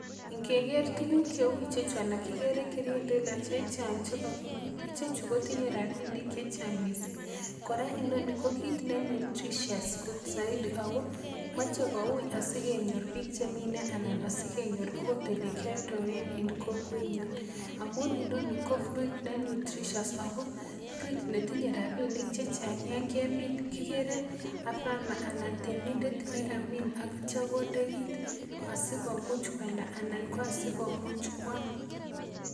Ngeker tuguk cheu ichechu ana kikere kirindila chechang chekakibut ichechu kotinye rapinik chechang missing kora inoni ko kit ne nutritious soiti ako moche kouui asikenyor biik chemine ana asikenyor ot elekioldoen en kokwetnyun amun inoni ko fruit ne nutritious ako fruit netinye rapinik chechang yan kemin kikere a farmer anan temindet nekamin qak itya konde kit asikomuch koalda anan ko asikomuch koam